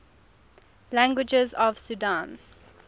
languages of sudan